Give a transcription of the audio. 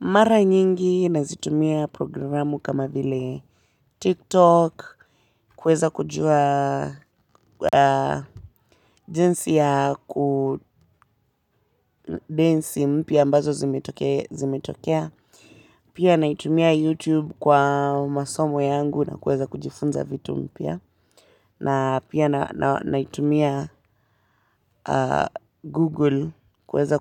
Mara nyingi nazitumia programu kama vile tiktok kuweza kujua jinsi ya ku densi mpya ambazo zimetokea pia naitumia youtube kwa masomo yangu na kuweza kujifunza vitu mpya na pia naitumia google kuweza